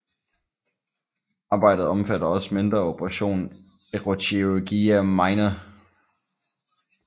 Arbejdet omfatter også mindre operation eroochirurgia minor